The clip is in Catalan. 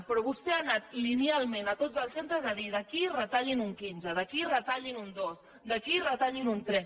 però vostè ha anat linealment a tots els centres a dir d’aquí retallin un quinze d’aquí retallin un dos d’aquí retallin un tres